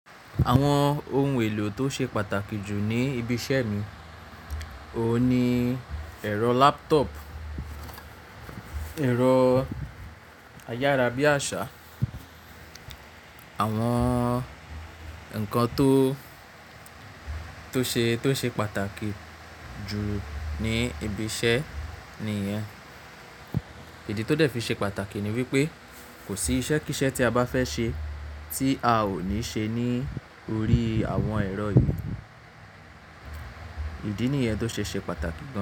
Àwọn ohun èlò tó ṣe pàtàkì jù ní ibi iṣẹ́ mi, òun ni ẹ̀rọ laptop, ẹ̀rọ ayárabíàṣá, àwọn nǹkan tó, tó ṣe pàtàkì jù ní ibi iṣẹ́ nìyẹn. Ìdí tó dẹ̀ fi ṣe pàtàkì ni wípé kò sí iṣẹ́ kí iṣẹ́ tí a bá fẹ́ ṣe tí a ò ní ṣe ní orí àwọn ẹ̀rọ yìí. Ìdí nìyẹn tó ṣe ṣe pàtàkì gán.